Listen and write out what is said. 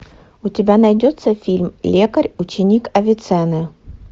у тебя найдется фильм лекарь ученик авиценны